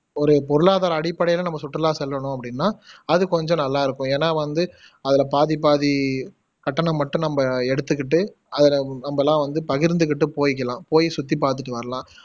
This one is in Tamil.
ஒரு பொருளாதார அடிப்படைல நம்ம சுற்றுலா செல்லனும் அப்படின்னா அது கொஞ்சம் நல்லா இருக்கும் ஏனா வந்து அதுல பாதி பாதி கட்டணம் மட்டும் நம்ப எடுத்துக்குட்டு அதுல நம்பலாம் வந்து பகிர்ந்துகுட்டு போய்க்கலாம் போய் சுத்தி பாத்துட்டு வரலாம்